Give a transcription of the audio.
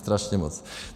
Strašně moc.